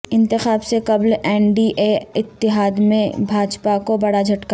انتخاب سے قبل این ڈی اے اتحاد میں بھاجپا کو بڑا جھٹکا